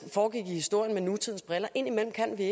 foregik i historien med nutidens briller indimellem kan vi